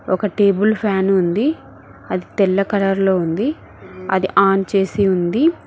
ఒక table fan ఉంది అది తెల్ల కలర్లో ఉంది అది ఆన్ చేసి ఉంది.